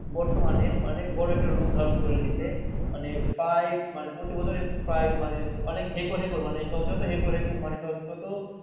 বর্তমানে অনেক একটা রূপ ধরুন করে নিচে মানে প্রায় প্রতি বছরে প্রায় মানে অনেক হেকর হেকৰ শত শত হেকৰ